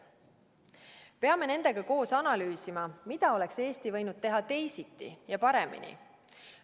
Me peame nendega koos analüüsima, mida oleks Eesti võinud teha teisiti ja paremini.